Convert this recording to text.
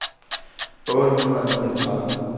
otte hundrede og niogtredive